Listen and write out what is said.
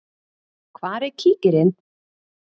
Hvar er kíkirinn?